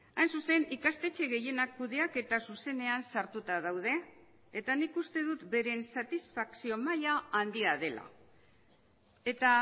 hain zuzen ikastetxe gehienak kudeaketa zuzenean sartuta daude eta nik uste dut beren satisfakzio maila handia dela eta